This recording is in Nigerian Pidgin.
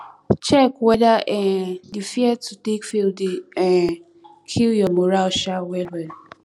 check weda um di fear to take fail dey um kill yur moral um wellwell